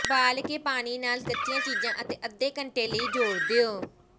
ਉਬਾਲ ਕੇ ਪਾਣੀ ਨਾਲ ਕੱਚੀਆਂ ਚੀਜ਼ਾਂ ਅਤੇ ਅੱਧੇ ਘੰਟੇ ਲਈ ਜ਼ੋਰ ਦਿਓ